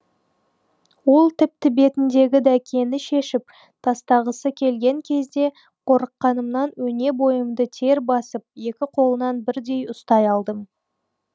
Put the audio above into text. ол тіпті бетіндегі дәкені шешіп тастағысы келген кезде қорыққанымнан өне бойымды тер басып екі қолынан бірдей ұстай алдым